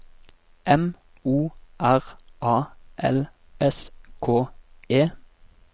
M O R A L S K E